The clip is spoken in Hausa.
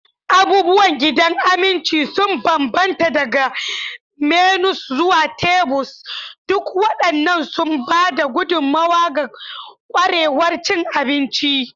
Abubuwan gidan abinci sun bambanta daga menus zuwa tebur, duk waɗannan suna ba da gudummawa ga ƙwarewar cin abinci.